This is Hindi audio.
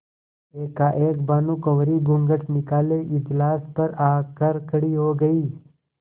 एकाएक भानुकुँवरि घूँघट निकाले इजलास पर आ कर खड़ी हो गयी